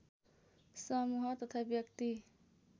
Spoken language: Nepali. समूह तथा व्यक्ति